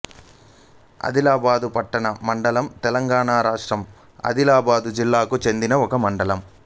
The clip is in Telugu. అదిలాబాదు పట్టణ మండలం తెలంగాణ రాష్ట్రం ఆదిలాబాదు జిల్లాకు చెందిన ఒక మండలం